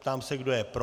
Ptám se, kdo je pro.